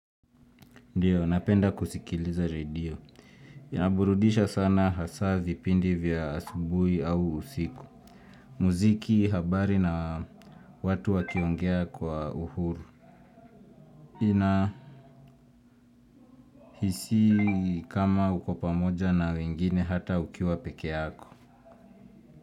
Ndiyo, napenda kusikiliza redio. Inaburudisha sana hasa vipindi vya asubuhi au usiku. Muziki habari na watu wa kiongea kwa uhuru. Ninahisi kama uko pamoja na wengine hata ukiwa pekee yako.